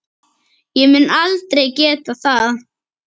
Ég mun aldrei geta það.